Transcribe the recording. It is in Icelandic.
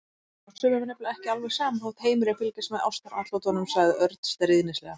Já, sumum er nefnilega ekki alveg sama þótt heimurinn fylgist með ástaratlotunum sagði Örn stríðnislega.